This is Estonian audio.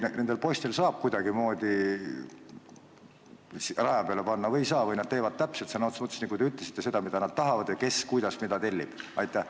Kas saab neid poisse kuidagimoodi raja peale panna või ei saa ja nad teevad sõna otseses mõttes, nagu te ütlesite, seda, mida nad tahavad, ja seda, mida keegi tellib?